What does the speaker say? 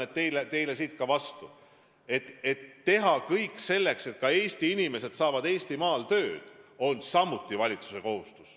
Mina ütlen teile siit vastu: teha kõik selleks, et ka Eesti inimesed saavad Eestimaal tööd, on samuti valitsuse kohustus.